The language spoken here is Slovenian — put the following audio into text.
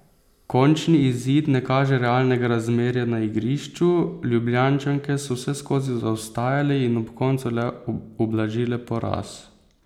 Končni izid ne kaže realnega razmerja na igrišču, Ljubljančanke so vseskozi zaostajale in ob koncu le ublažile poraz.